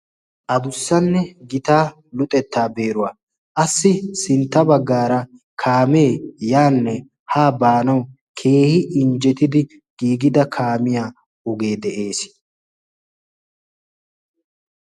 addussanne gitaa luxettaa beeruwaa qassi sintta baggaara kaamee yaanne haa baanawu keehi injjetidi giigida kaamiya ogee de'ees